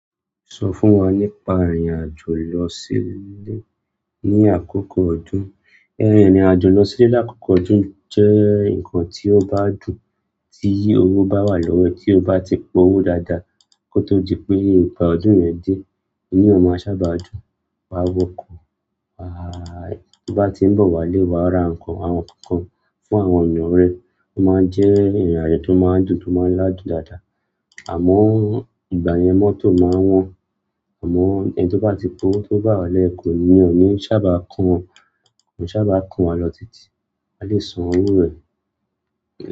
Sọ fún wa nípa ìrìn àjò lọ sí ilé ní àkókò ọdún. Ìrìn àjò lọ sílé lákòókò ọdún jẹ́ nǹkan tí ó bá dùn, tí owó bá wà lọ́wọ́ ẹ. Tí o bá ti pa owó dáadáa kó tó di pé ìgbà ọdún yẹn dé, inú èèyàn máa sábà dùn. Wà á wọkò, tí o bá tí ń bọ̀ wá ilé, wà á ra ǹkan, àwọn ǹkankan fún àwọn ènìyàn rẹ. Ó máa ń jẹ́ ìrìn àjò tó máa ń dùn, tó máa ń ládùn dáadáa. Àmọ́ ìgbà yẹn mọ́tò máa wọ́n. Àmọ́ ẹni tí ó bá ti pa owó tó bá wà nlẹ́, iyen ò ní sábà kàn wọ́n, ko n sábà kàn won lọ títí. A lè san owó rẹ̀.